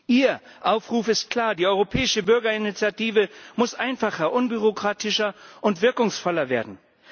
Ihr Aufruf ist klar Die Europäische Bürgerinitiative muss einfacher, unbürokratischer und wirkungsvoller werden.